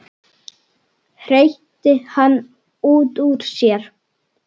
hreytti hann út úr sér.